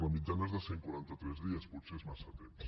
la mitjana és de cent i quaranta tres dies potser és massa temps